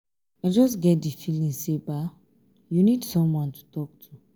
i just get di feeling say you need someone to talk to.